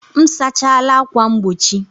M sachala ákwà mgbochi